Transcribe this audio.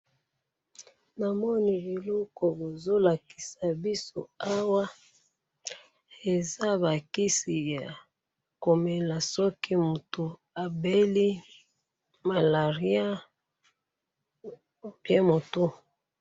Namoni eloko bozolakisa biso awa, eza bakisi yakomela soki mutu abeli malaria ou bien mutu.